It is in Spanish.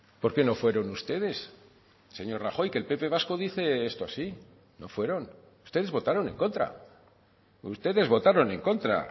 por qué no fueron ustedes señor rajoy que el pp vasco dice esto así no fueron ustedes votaron en contra ustedes votaron en contra